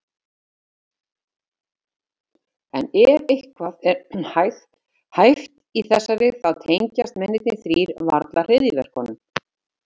En ef eitthvað er hæft í þessari, þá tengjast mennirnir þrír varla hryðjuverkum.